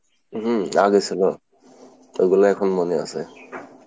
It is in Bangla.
হম আগে ছিল, এইগুলা এখন মনে আছে।